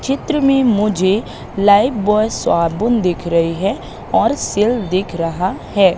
चित्र में मुझे लाइफबॉय साबुन दिख रही है और सेल दिख रहा है।